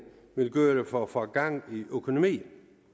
vil gøre for at få gang i økonomien